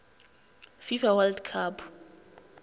fifa world cup